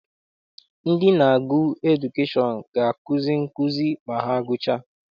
Ndị na-agụ edukeshọn ga akuzi nkụzi ma ha gụchaa.